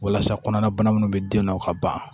Walasa kɔnɔna bana minnu bɛ den nɔ ka ban